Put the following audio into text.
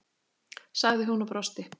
sagði hún og brosti.